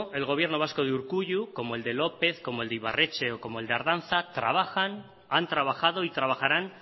el gobierno vasco de urkullu como el de lópez como el de ibarretxe o como el de ardanza trabajan han trabajado y trabajarán